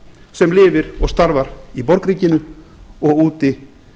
sem lifir og starfar í borgríkinu og úti